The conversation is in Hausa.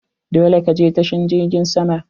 Dole ka je tashar jirgin sama!